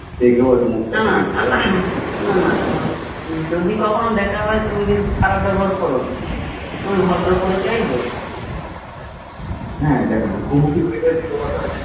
নানা আহ যদি কখনো দেখা হয় তুমি কিন্তু খারাপ ব্যবহার করো না তুমি ভদ্র পরিচয়ই দেবে